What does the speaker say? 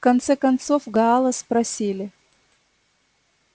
в конце концов гаала спросили